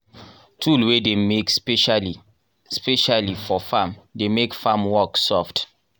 tool wey dey make specially specially for farm dey make farm work soft.